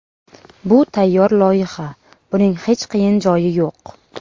Bu tayyor loyiha, buning hech qiyin joyi yo‘q.